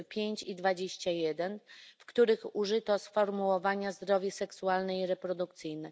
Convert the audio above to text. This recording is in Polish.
5 i ust. 21, w których użyto sformułowania zdrowie seksualne i reprodukcyjne.